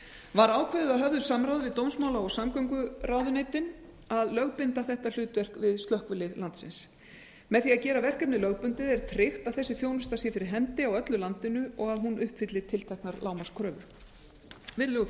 var ákveðið að höfðu samráði við dómsmála og samgönguráðuneytin að lögbinda þetta hlutverk við slökkvilið landsins með því að gera verkefni lögbundið er tryggt að þessi þjónusta sé fyrir hendi á öllu landinu og að hún uppfylli tilteknar lágmarkskröfur virðulegur